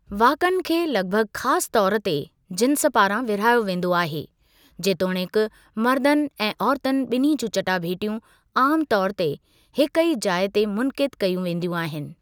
वाक़अनि खे लॻभॻ ख़ासु तौरु ते जिन्स पारां विरहायो वेंदो आहे, जेतोणीकि मर्दनि ऐं औरतुनि बि॒न्ही जूं चटाभेटियूं आमतौर ते हिकु ई जाइ ते मुनक़िदु कई वेंदियूं आहिनि।